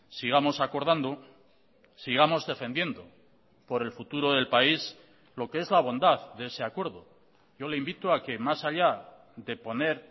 sigamos acordando sigamos defendiendo por el futuro del país lo que es la bondad de ese acuerdo yo le invito a que más allá de poner